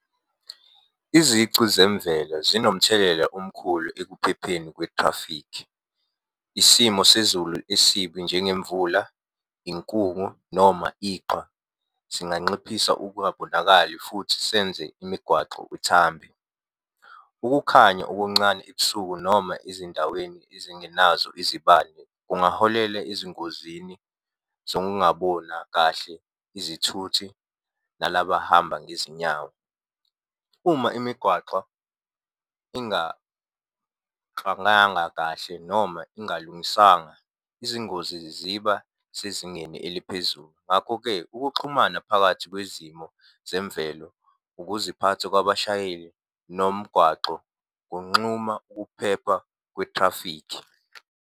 Izici zemvela zinomthelela omkhulu ekuphepheni kwe-traffic. Isimo sezulu esibi njengemvula, inkungu noma iqhwa, singanxiphisa ukungabonakali futhi senze imigwaxo uthambe. Ukukhanya okuncane ebusuku noma ezindaweni ezingenazo izibane, kungaholela ezingozini zokungabona kahle izithuthi nalaba abahamba ngezinyawo. Uma imigwaqo kahle noma ingalungiswanga, izingozi ziba sezingeni eliphezulu. Ngakho-ke ukuxhumana phakathi kwezimo zemvelo, ukuziphatha kwabashayeli, nomgwaxo kunxuma ukuphepha kwethrafikhi.